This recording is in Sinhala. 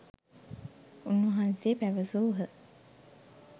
උන්වහන්සේ පැවැසූහ.